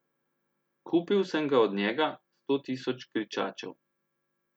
Kupil sem ga od njega, sto tisoč kričačev.